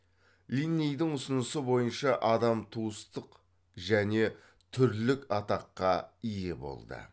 линнейдің ұсынысы бойынша адам туыстық және түрлік атаққа ие болды